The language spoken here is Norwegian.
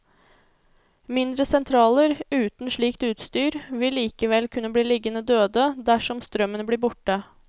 Mindre sentraler uten slikt utstyr vil likevel kunne bli liggende døde dersom strømmen blir borte.